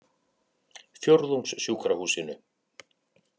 Fjórðungssjúkrahúsinu